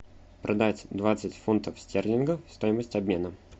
продать двадцать фунтов стерлингов стоимость обмена